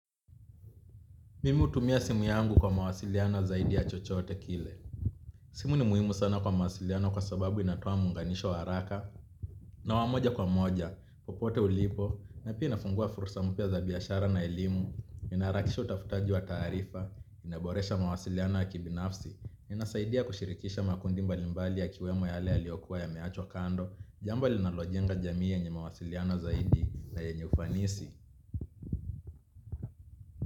Mimi hutumia simu yangu kwa mawasiliano zaidi ya chochote kile. Simu ni muhimu sana kwa mawasiliano kwa sababu inatoa muunganisho wa haraka. Na wa moja kwa moja, popote ulipo, na pia inafungua fursa mpya za biashara na elimu, inaharakisha utafutaji wa taarifa, inaboresha mawasiliano ya kibinafsi. Inasaidia kushirikisha makundi mbali mbali yakiwemo yale yaliyokua yameachwa kando, jambo linalojenga jamii yenye mawasiliano zaidi na yenye ufanisi.